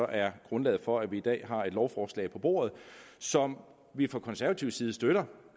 er grundlaget for at vi i dag har et lovforslag på bordet som vi fra konservativ side støtter